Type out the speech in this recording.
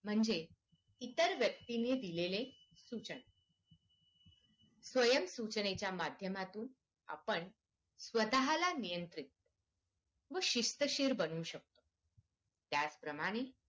म्हणजे इतर व्यक्तीने दिलेले सूचना स्वयं सूचनेच्या माध्यमातून आपण स्वतःला नियंत्रित व शिस्तशीर बनवू शकतो त्यांचं प्रमाणे